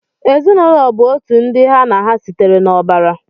Ezinụlọ bụ otu ndị ha na ha sitere n'ọbara.